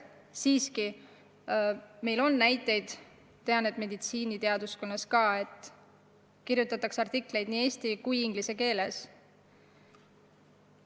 Siiski ma tean, et näiteks meditsiiniteaduste valdkonnas kirjutatakse artikleid nii eesti kui inglise keeles.